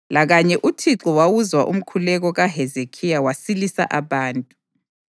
Lakanye uThixo wawuzwa umkhuleko kaHezekhiya wasilisa abantu.